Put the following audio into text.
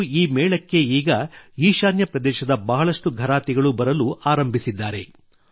ಹಾಗೂ ಈ ಮೇಳಕ್ಕೆ ಈಗ ಈಶಾನ್ಯ ಪ್ರದೇಶದ ಬಹಳಷ್ಟು ಘರಾತಿಗಳೂ ಬರಲು ಆರಂಭಿಸಿದ್ದಾರೆ